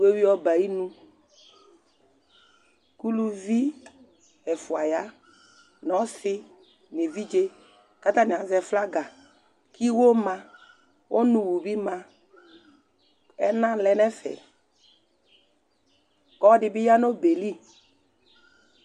Wʋewʋi ɔbɛ ayi nu, uluvi ɛfʋa ya nu ɔsi nu evidze ku ata ni azɛ, flaga ku iwo ma, ɔnu wu bi ma, ɛna lɛ nu ɛfɛ, ku ɔlɔdibi ya nu ɔbɛ yɛ li